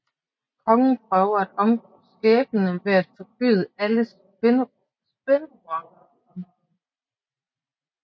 Kongen prøver at omgå skæbnen ved at forbyde alle spinderokker i området